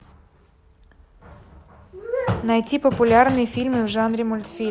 найти популярные фильмы в жанре мультфильм